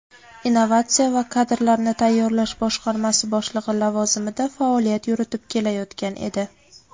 innovatsiya va kadrlarni tayyorlash boshqarmasi boshlig‘i lavozimida faoliyat yuritib kelayotgan edi.